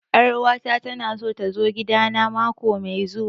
Ƴar uwa ta ta na so ta zo gida na mako mai zuwa